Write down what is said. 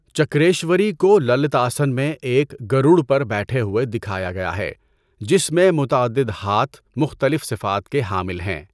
چکریشوری کو للتاسن میں ایک گروڈ پر بیٹھے ہوئے دکھایا گیا ہے، جس میں متعدد ہاتھ مختلف صفات کے حامل ہیں۔